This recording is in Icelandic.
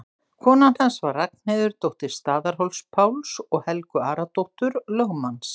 Kona hans var Ragnheiður, dóttir Staðarhóls-Páls og Helgu Aradóttur, lögmanns